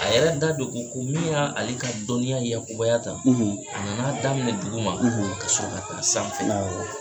A yɛrɛ da de ko ko min yaa ale ka dɔnniya yakubaya tan, a nan'a daminɛ duguma kasɔrɔ ka taa sanfɛ. Awɔɔ.